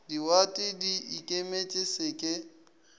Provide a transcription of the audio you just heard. diwate di ikemetše se ke